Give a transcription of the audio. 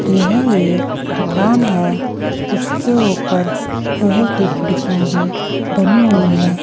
यह एक दुकान है इसके ऊपर लोहे की खिड़कियां भी बनी हुई है।